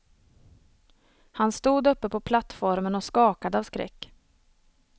Han stod uppe på plattformen och skakade av skräck.